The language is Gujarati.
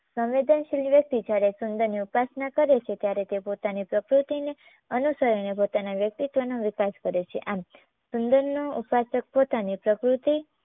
સંવેનદનશીલ વ્યક્તિ જયારે સુંદરની ઉપાસના કરે છે ત્યારે તે પોતાની પ્રકૃતિને અનુસરીને પોતાના વ્યક્તિત્વનો વિકાસ કરે છે. આમ સુંદરનો ઉપાસક પોતાની પ્રકૃતિ